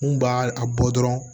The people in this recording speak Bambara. N kun b'a a bɔ dɔrɔn